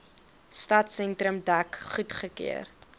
stadsentrum dek goedgekeur